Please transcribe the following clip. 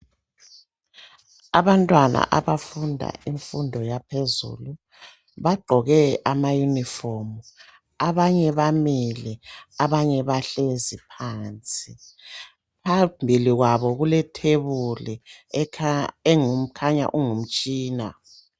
Abantwana abafunda imfundo yaphezulu bagqoke amayunifomu abanye bamile abanye bahlezi phansi phambili kwabo kulethebuli ekhanya ilomtshina.